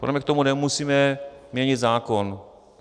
Podle mě k tomu nemusíme měnit zákon.